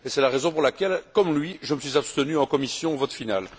C'est la raison pour laquelle, comme lui, je me suis abstenu en commission en vote final.